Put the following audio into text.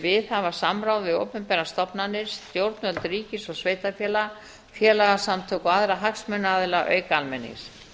viðhafa samráð við opinberar stofnanir stjórnvöld ríkis og sveitarfélaga félagasamtök og aðra hagsmunaaðila auk almennings